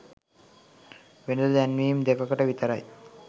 වෙළෙඳ දැන්වීම් දෙකකට විතරයි.